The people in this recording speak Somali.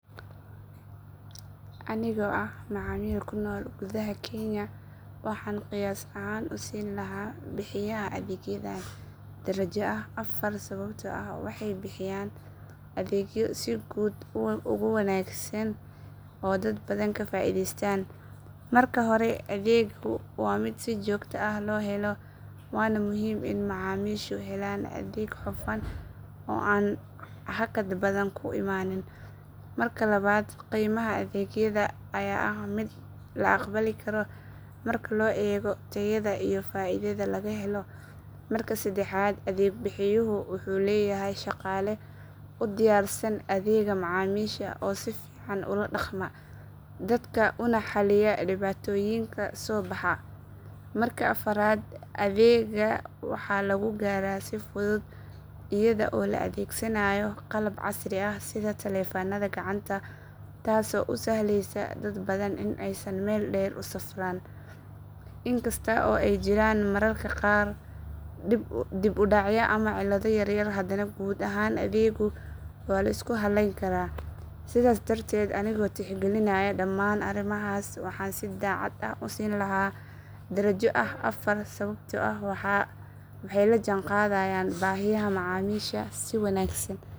Anigoo ah macaamiil ku nool gudaha kenya waxaan qiyaas ahaan u siin lahaa bixiyaha adeegyadan darajo ah afar sababtoo ah waxay bixiyaan adeegyo si guud u wanaagsan oo dad badan ka faa’iidaystaan. Marka hore adeeggu waa mid si joogto ah loo helo waana muhiim in macaamiishu helaan adeeg hufan oo aan hakad badan ku imaanin. Marka labaad qiimaha adeegyada ayaa ah mid la aqbali karo marka loo eego tayada iyo faa’iidada laga helo. Marka saddexaad adeeg bixiyuhu wuxuu leeyahay shaqaale u diyaarsan adeegga macaamiisha oo si fiican ula dhaqma dadka una xalliya dhibaatooyinka soo baxa. Marka afraad adeegga waxaa lagu gaaraa si fudud iyada oo la adeegsanayo qalab casri ah sida taleefanada gacanta taasoo u sahleysa dad badan in aysan meel dheer u safraan. In kasta oo ay jiraan mararka qaar dib u dhac ama cilado yar yar hadana guud ahaan adeeggu waa la isku halleyn karaa. Sidaas darteed anigoo tixgelinaya dhammaan arrimahaas waxaan si daacad ah u siin lahaa darajo ah afar sababtoo ah waxay la jaan qaadayaan baahiyaha macaamiisha si wanaagsan.